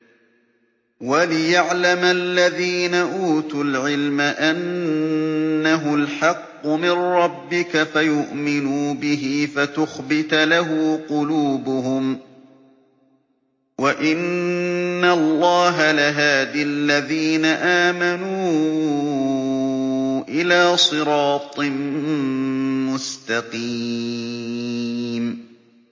وَلِيَعْلَمَ الَّذِينَ أُوتُوا الْعِلْمَ أَنَّهُ الْحَقُّ مِن رَّبِّكَ فَيُؤْمِنُوا بِهِ فَتُخْبِتَ لَهُ قُلُوبُهُمْ ۗ وَإِنَّ اللَّهَ لَهَادِ الَّذِينَ آمَنُوا إِلَىٰ صِرَاطٍ مُّسْتَقِيمٍ